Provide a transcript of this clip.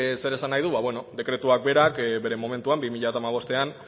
zer esan nahi du ba bueno dekretuak berak bere momentuan bi mila hamabostean